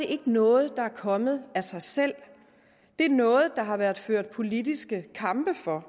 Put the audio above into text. ikke noget der er kommet af sig selv det er noget der har været ført politiske kampe for